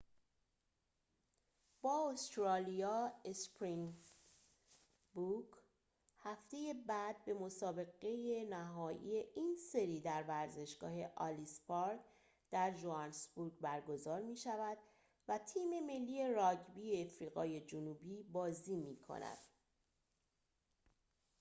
هفته بعد مسابقه نهایی این سری در ورزشگاه الیس پارک در ژوهانسبورگ برگزار می‌شود و تیم ملی راگبی آفریقای جنوبی springboks با استرالیا بازی می‌کند